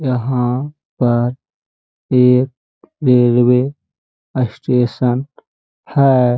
यहाँ पर एक रेलवे असटेशन है।